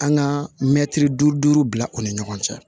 An ka mɛtiri duuru bila o ni ɲɔgɔn cɛ